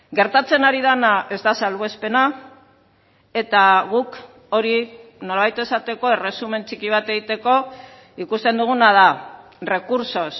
gertatzen ari dena ez da salbuespena eta guk hori nolabait esateko erresumen txiki bat egiteko ikusten duguna da recursos